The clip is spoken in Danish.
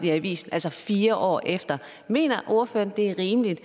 i avisen altså fire år efter mener ordføreren det er rimeligt